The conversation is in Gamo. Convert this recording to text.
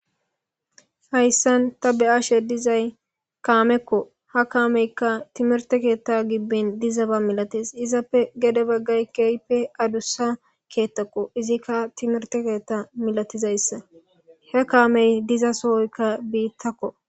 hayssan ta be7ashe dizay kaamekko ha kaameykka timerte keetta gibben dizaba milates izappe gede baggay keyppe adussa keettakko izikka timerte keetta milatizayssa he kaamey diza sohoykka biittakko